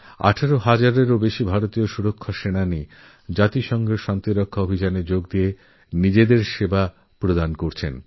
আঠেরো হাজারের বেশিপ্রতিরক্ষা বাহিনীর সদস্য রাষ্ট্রসঙ্ঘের শান্তিরক্ষা প্রচেষ্টায় নিজেদের অবদানরেখেছে